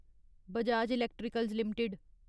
Bajaj electricals limited